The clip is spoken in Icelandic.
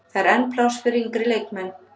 Það er enn pláss fyrir yngri leikmenn.